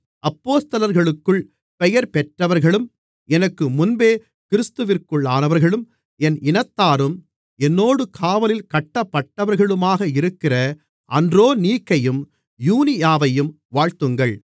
அப்போஸ்தலர்களுக்குள் பெயர்பெற்றவர்களும் எனக்கு முன்பே கிறிஸ்துவிற்குள்ளானவர்களும் என் இனத்தாரும் என்னோடு காவலில் கட்டப்பட்டவர்களுமாக இருக்கிற அன்றோனீக்கையும் யூனியாவையும் வாழ்த்துங்கள்